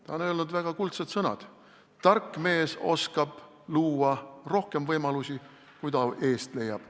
Ta on öelnud väga kuldsed sõnad: "Tark mees oskab luua rohkem võimalusi, kui ta eest leiab.